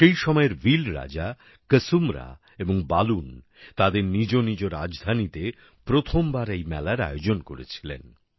সেই সময়ের ভীল রাজা কাসুমরা এবং বালুন তাদের নিজ নিজ রাজধানীতে প্রথমবার এই মেলার আয়োজন করেছিলেন